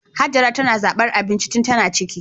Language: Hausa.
Hajara tana zabar abinci tun tana ciki